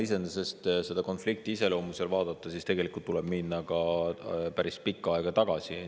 Iseenesest, kui selle konflikti iseloomu vaadata, siis tegelikult tuleb minna ajas päris kaugele tagasi.